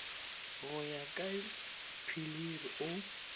go ya ka pilir o